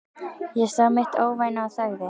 Ég sá mitt óvænna og þagði.